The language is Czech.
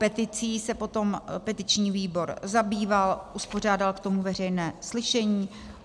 Peticí se potom petiční výbor zabýval, uspořádal k tomu veřejné slyšení.